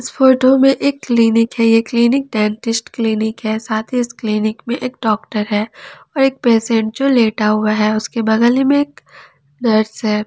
Photo में एक clinic है ये क्लिनिक डेंटिस्ट क्लिनिक है साथ ही इस क्लीनिक में एक डॉक्टर है और एक पेशेंट जो लेटा हुआ है उसके बगल में एक नर्स है।